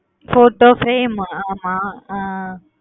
என்னது photo frame ஹம்